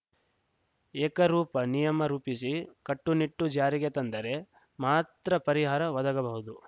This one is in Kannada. ಏಕರೂಪ ನಿಯಮ ರೂಪಿಸಿ ಕಟ್ಟುನಿಟ್ಟು ಜಾರಿಗೆ ತಂದರೆ ಮಾತ್ರ ಪರಿಹಾರ ಒದಗಬಹುದು